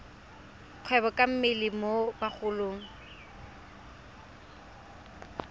kgwebo ka mmele mo bagolong